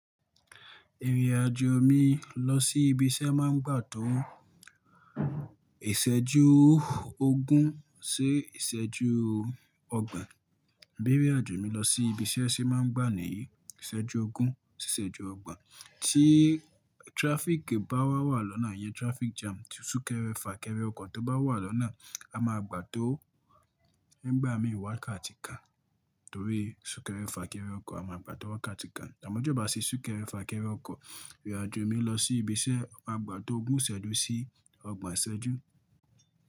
Ìrìn-àjò mi lọ sí ibi iṣẹ́ máa ń gbà tó ìṣẹ́jú ogún sí ìṣẹ́jú ọgbọ̀n. Ìbérè àjò mi lọ sí ibi iṣẹ́ ṣe máa ń gbà ní ìṣẹ́jú ogún sí ìṣẹ́jú ọgbọ̀n tí traffic bá wà wà lọ́nà yẹn traffic jam. Tí súnkẹrẹ fà kẹrẹ ọkọ̀ tó bá wà lọ́nà a máa gbà tó nígbà mí wákàtí kan torí súnkẹrẹ fà kẹrẹ ọkọ̀ a máa gbà tó wákàtí kan. Àmọ́ tí ò bá sì súnkẹrẹ-fàkẹrẹ ọkọ̀ ìrìn-àjò mi lọ sí ibi iṣẹ́ ó máa gbà tó ogún ìṣẹ́jú sí ọgbọ̀n ìṣẹ́jú.